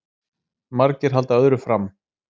Margir halda öðru fram